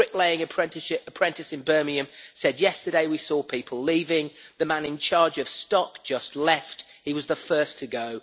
One bricklaying apprentice in Birmingham said yesterday we saw people leaving, the man in charge of stock just left, he was the first to go.